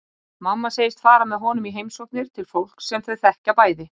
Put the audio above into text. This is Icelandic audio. Mamma segist fara með honum í heimsóknir til fólks sem þau þekkja bæði.